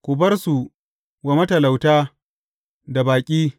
Ku bar su wa matalauta da baƙi.